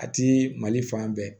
A ti mali fan bɛɛ